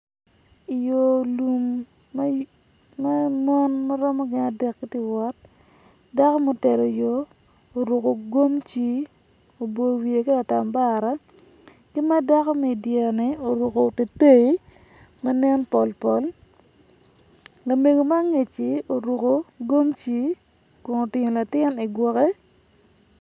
Yo lum ma mon ma giromo gin adek giiti wot dako mutelo yo oruko gomci oboyo wiye ki latambara ki ma dako ma idyereni orukko teitei ma nen pol pol lamego ma angeci oruko gomci kun otingo latin igwoke